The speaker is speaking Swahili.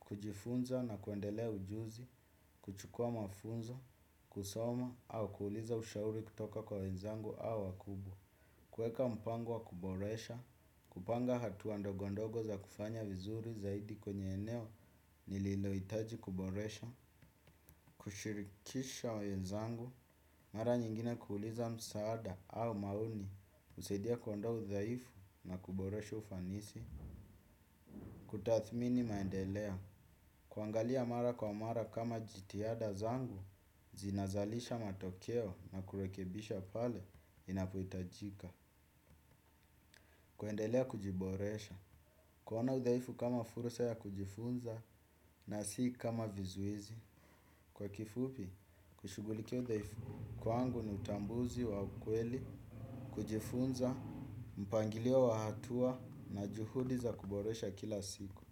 Kujifunza na kuendelea ujuzi, kuchukua mafunzo, kusoma au kuuliza ushauri kutoka kwa wenzangu au wakubwa kuweka mpango wa kuboresha, kupanga hatua ndogondogo za kufanya vizuri zaidi kwenye eneo nililohitaji kuboresha kushirikisha wenzangu, mara nyingine kuuliza msaada au maoni, husaidia kuondoa udhaifu na kuboresha ufanisi. Kutathmini maendeleo, kuangalia mara kwa mara kama jitihada zangu zinazalisha matokeo na kurekebisha pale inapohitajika. Kuendelea kujiboresha, kuona udhaifu kama fursa ya kujifunza na si kama vizuizi. Kwa kifupi, kushughulikia udhaifu kwangu ni utambuzi wa ukweli. Kujifunza, mpangilio wa hatua na juhudi za kuboresha kila siku.